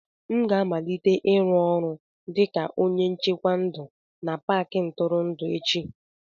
M ga-amalite ịrụ ọrụ dịka onye nchekwa ndụ na Paakị ntụrụndụ echi